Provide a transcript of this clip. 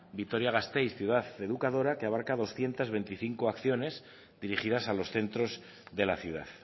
vitoria gasteiz ciudad educadora que abarca doscientos veinticinco acciones dirigidas a los centros de la ciudad